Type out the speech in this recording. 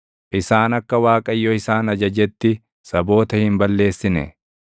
Isaan akka Waaqayyo isaan ajajetti, saboota hin balleessine;